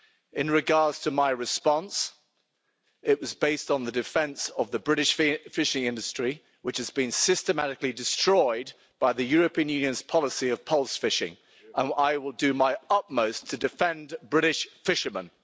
In regard to my response, it was based on the defence of the British fishing industry, which has been systematically destroyed by the European Union's policy of pulse fishing, and I will do my utmost to defend British fishermen.